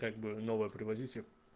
как бы новое привозите